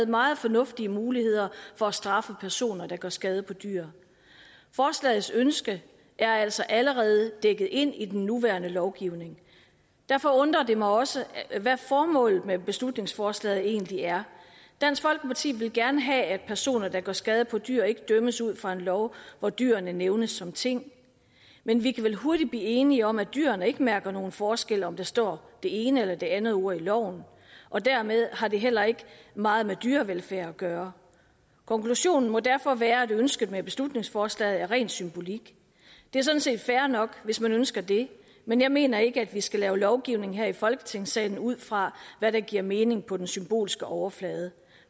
meget fornuftige muligheder for at straffe personer der gør skade på dyr forslagets ønske er altså allerede dækket ind i den nuværende lovgivning og derfor undrer det mig også hvad formålet med beslutningsforslaget egentlig er dansk folkeparti vil gerne have at personer der gør skade på dyr ikke dømmes ud fra en lov hvor dyrene nævnes som ting men vi kan vel hurtigt blive enige om at dyrene ikke mærker nogen forskel om der står det ene eller det andet ord i loven og dermed har det heller ikke meget med dyrevelfærd at gøre konklusionen må derfor være at ønsket med beslutningsforslaget er ren symbolik det er sådan set fair nok hvis man ønsker det men jeg mener ikke at vi skal lave lovgivning her i folketingssalen ud fra hvad der giver mening på den symbolske overflade